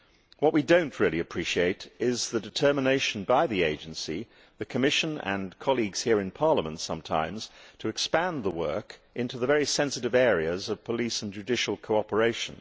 What we do not really appreciate is the determination by the agency, the Commission and sometimes colleagues here in Parliament, to expand the work into the very sensitive areas of police and judicial cooperation.